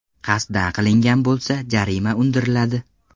Qasddan qilingan bo‘lsa, jarima undiriladi.